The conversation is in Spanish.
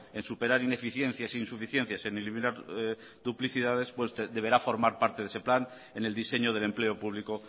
en superar ineficiencias e insuficiencias en eliminar duplicidades pues deberá formar parte de ese plan en el diseño del empleo público